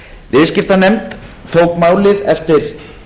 viðskiptanefnd tók málið eftir